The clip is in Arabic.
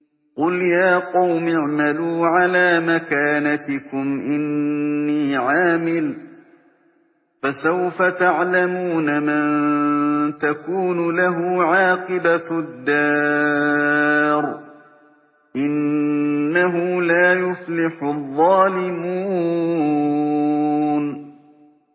قُلْ يَا قَوْمِ اعْمَلُوا عَلَىٰ مَكَانَتِكُمْ إِنِّي عَامِلٌ ۖ فَسَوْفَ تَعْلَمُونَ مَن تَكُونُ لَهُ عَاقِبَةُ الدَّارِ ۗ إِنَّهُ لَا يُفْلِحُ الظَّالِمُونَ